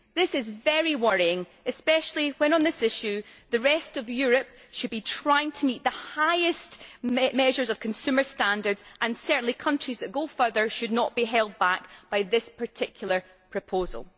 This is very worrying, especially when on this issue the rest of Europe should be trying to meet the highest measures of consumer standards, and certainly countries that go further should not be held back by this particular proposal.